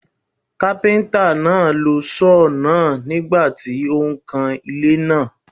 Kápẹ́ńtà náà lo Sọ́ọ̀ náà nígbà tí ó ń kan ilé náà.